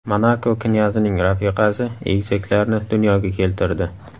Monako knyazining rafiqasi egizaklarni dunyoga keltirdi.